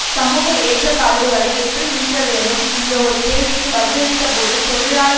சமூக ஏற்றதாழ்வுகளை எப்படி நீக்கவியலும் என்ற ஒரு கேள்விக்கு பதிலளித்தபோது தொழிலாள